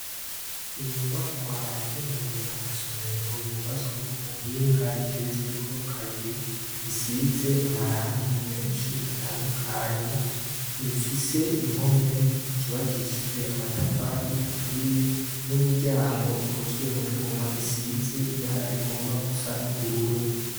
Inyubakwa yagenewe amasomero yubatswe ku buhinga igerezweko kabiri isize amarangi menshi atandukanye imfise impome zubakishijwe amatafari aturiye n'imiryango ikozwe mu juma isize ibara rigomba gusa n'uburwuwa uru.